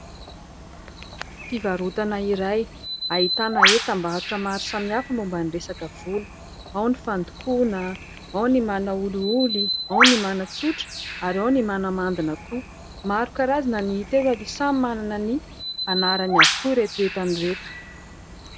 Fivarotana iray ahitana entam-barotra maro samihafa momba ny resaka volo. Ao ny fandokoana, ao ny manaolioly, ao ny manatsotra, ary ao ny manamandina koa. Maro karazana ny hita eto ary samy manana ny anarany avokoa ireto entana ireto.